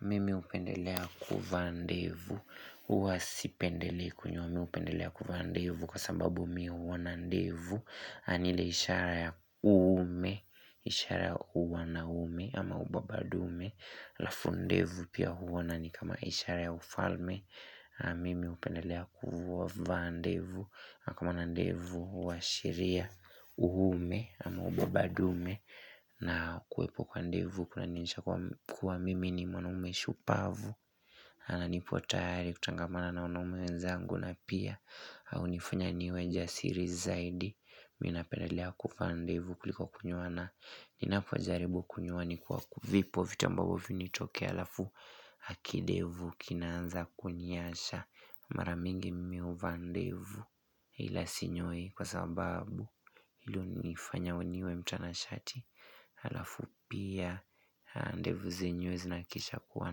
Mimi hupendelea kuvaa ndevu, huwa sipendelei kunyoa mimi hupendelea kuvaa ndevu kwa sababu mimi huona ndevu ni ile ishara ya uume, ishara ya uwanaume ama ubabandume alafu ndevu pia huwa na ni kama ishara ya ufalme Mimi hupendelea kuvaa ndevu, kama na ndevu huashiria uume ama ubabandume na kuepo kwa ndevu kuna nionyesha kuwa mm ni mwanaume shupavu, ana nipo tayari kutangamana na wanaume wezangu na pia Haunifanya niwe jasiri zaidi, mimi napendelea kuvaa ndevu kuliko kunyoa na Ninapo jaribu kunyoa ni kwa kuvipo vitu ambavyo vinitokea alafu hakindevu Kinaanza kuniyaasha mara mingi mmeo vaa ndevu ila sinyoi kwa sababu hilo hunifanya niwe mtanashati Alafu pia ndevu zenyewe zinahakisha kuwa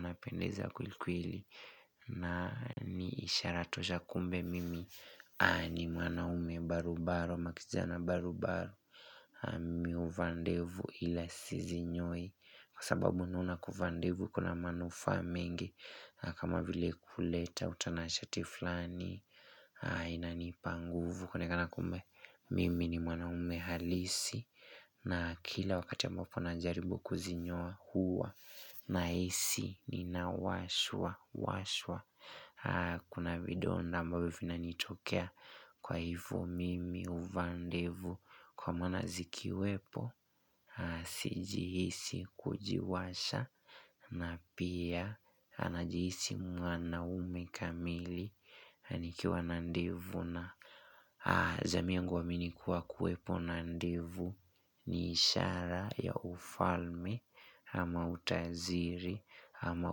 na pendeza kweli kweli na ni ishara tosha kumbe mimi ni mwanaume barubaru ama kijana barubaru Mimi huvaa ndevu ile sizinyoi Kwa sababu naona kuvaa ndevu kuna manufaa mengi kama vile huleta utanashati fulani inanipa nguvu kuonekana kumbe mm ni mwanaume halisi na kila wakati ambapo najaribu kuzinyoa huwa nahisi ninawashwawashwa kuna vidonda ambavyo vinanitokea kwa hivyo mm huvaa ndevu kwa mwana zikiwepo sijihisi kujiwasha ama pia anajihisi mwanaume kamili nikiwa na ndevu na jamii yangu huamini kuwepo na ndevu ni ishara ya ufalme ama utaziri ama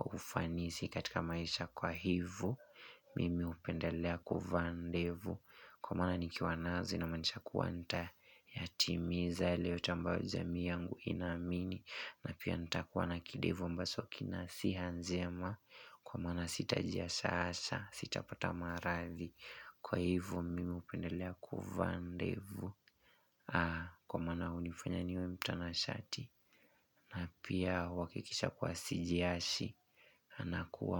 ufanisi katika maisha kwa hivyo nimeupendelea kuvaa ndevu kwa maana nikiwa nazo inamaanisha kuwa yatimiza yaliyo tambaa jamii yangu ina amini na pia nitakuwa na kindevu ambacho kina siha njema kwa maana sitajia sasa sitapata maradhi kwa hivo mimi hupendelea kuvaa ndevu kwa maana hunifanya niwe mtanashati na pia huwakikisha kuwa sijiashi na kuwa.